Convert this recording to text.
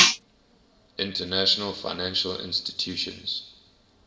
international financial institutions